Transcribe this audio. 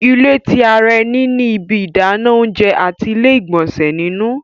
ilé tí àrà eni ní ibí Idana oúnjẹ àti ile-igbọnsẹ nínú